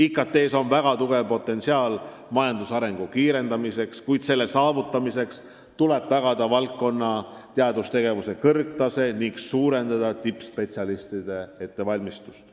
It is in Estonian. IKT-s peitub väga suur potentsiaal majandusarengu kiirendamiseks, kuid selle saavutamiseks tuleb tagada valdkonna teadustegevuse kõrgtase ning suurendada tippspetsialistide ettevalmistust.